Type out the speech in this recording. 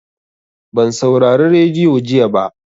Ban saurari radiyo jiya ba.